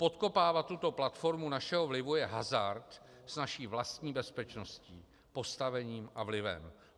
Podkopávat tuto platformu našeho vlivu je hazard s naší vlastní bezpečností, postavením a vlivem.